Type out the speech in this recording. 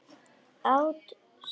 Át sand.